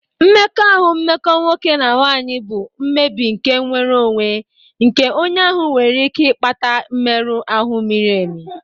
Mmekọahụ mmekọ nwoke na nwanyị bụ mmebi nke nnwere onwe nke onye ahụ nwere ike ịkpata mmerụ ahụ miri emi.